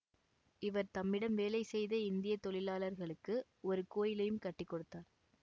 இவர் தம்மிடம் வேலை செய்த இந்திய தொழிலாளர்களுக்கு ஒரு கோயிலையும் கட்டி கொடுத்தார்